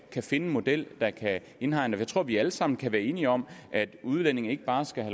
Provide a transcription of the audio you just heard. kan finde en model der kan indhegne det tror at vi alle sammen kan være enige om at udlændinge ikke bare skal